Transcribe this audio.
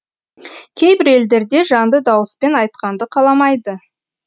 кейбір елдерде жанды дауыспен айтқанды қаламайды